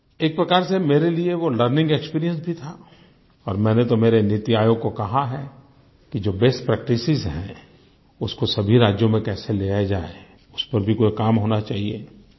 एक प्रकार से मेरे लिए वो लर्निंग एक्सपीरियंस भी था और मैंने तो मेरे नीति आयोग को कहा है कि जो बेस्ट प्रैक्टिस हैं उनको सभी राज्यों में कैसे लिया जाए उस पर भी कोई काम होना चाहिए